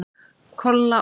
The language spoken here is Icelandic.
Kolla og